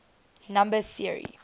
number theory